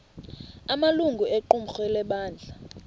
amalungu equmrhu lebandla